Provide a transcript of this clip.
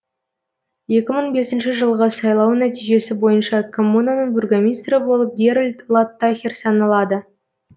екі мың бесінші жылғы сайлау нәтижесі бойынша коммунаның бургомистрі болып геральд латтахер саналады